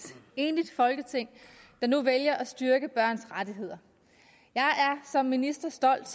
enigt folketing der nu vælger at styrke børns rettigheder jeg er som minister stolt